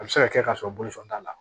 A bɛ se ka kɛ kasɔrɔ bolo fan t'a la